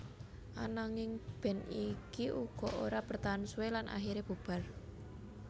Ananging band iki uga ora bertahan suwe lan akhiré bubar